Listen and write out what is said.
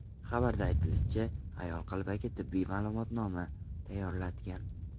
Xabarda aytilishicha, ayol qalbaki tibbiy ma’lumotnoma tayyorlatgan.